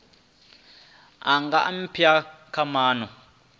a nga aphila kha mawanwa